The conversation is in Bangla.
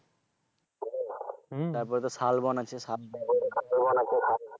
তারপর তো শালবন আছে।